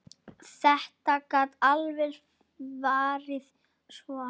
Þetta gat alveg farið svona.